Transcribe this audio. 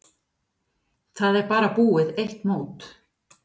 Það er bara búið eitt mót.